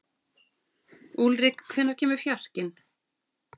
Úlrik, hvenær kemur fjarkinn?